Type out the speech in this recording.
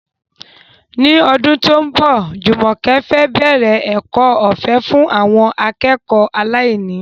Ní ọdún tó ń bọ̀, Jumoke fẹ́ bẹ̀rẹ̀ ẹ̀kọ́ ọ̀fẹ́ fún àwọn akẹ́kọ̀ọ́ aláìní.